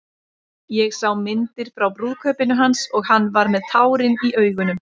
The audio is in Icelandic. Ég sá myndir frá brúðkaupinu hans og hann var með tárin í augunum.